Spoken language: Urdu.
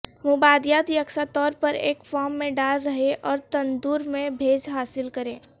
مبادیات یکساں طور پر ایک فارم میں ڈال رہیں اور تندور میں بھیج حاصل کریں